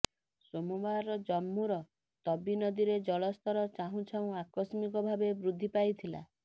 ସୋମବାର ଜମ୍ମୁର ତବୀ ନଦୀରେ ଜଳସ୍ତର ଚାହୁଁ ଚାହୁଁ ଆକସ୍ମିକ ଭାବେ ବୃଦ୍ଧି ପାଇଥିଲା